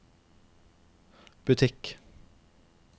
butikk